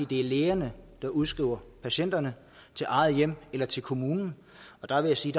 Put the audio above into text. det er lægerne der udskriver patienterne til eget hjem eller til kommunen og jeg vil sige